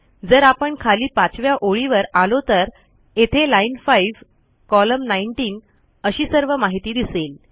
जर आपण खाली 5व्या ओळीवर आलो तर येथे लाईन 5 कोलम्न 19 एलएन5 कॉल19 अशी सर्व माहिती दिसेल